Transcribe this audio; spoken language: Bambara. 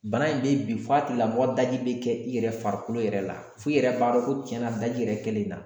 Bana in be i bin fa tigilamɔgɔ daji be kɛ i yɛrɛ farikolo yɛrɛ la f'i yɛrɛ b'a dɔn ko cɛn na daji yɛrɛ kɛlen i la.